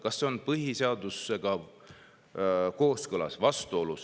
Kas see on põhiseadusega kooskõlas või vastuolus?